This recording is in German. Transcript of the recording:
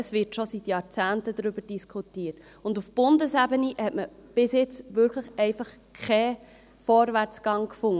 Es wird schon seit Jahrzehnten darüber diskutiert, und auf Bundesebene hat man bis jetzt wirklich einfach keinen Vorwärtsgang gefunden.